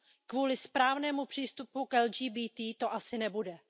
Kvůli správnému přístupu k LGBTI to asi nebude.